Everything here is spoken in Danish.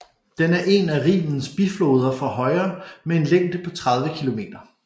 Den er en af Rhinens bifloder fra højre med en længde på 30 km